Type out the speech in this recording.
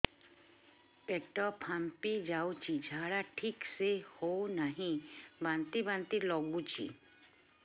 ପେଟ ଫାମ୍ପି ଯାଉଛି ଝାଡା ଠିକ ସେ ହଉନାହିଁ ବାନ୍ତି ବାନ୍ତି ଲଗୁଛି